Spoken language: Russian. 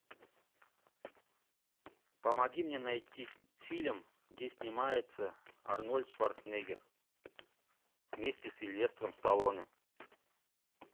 помоги мне найти фильм где снимается арнольд шварценеггер вместе с сильвестром сталлоне